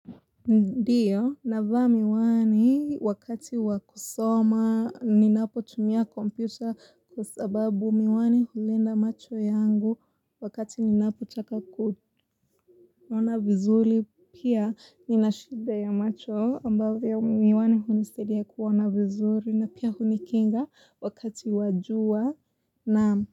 Ndiyo, navaa miwani wakati wakusoma ninapo tumia kompyuta kusababu miwani hulinda macho yangu wakati ninapo taka kuona vizuri pia ninashida ya macho ambavyo miwani hunisaidia kuona vizuri na pia hunikinga wakati wa jua na.